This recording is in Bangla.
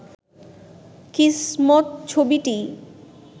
কিসমত ছবিটি